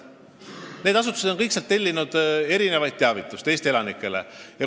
Kõik need asutused on sealt tellinud teavituskampaaniaid Eesti elanikele.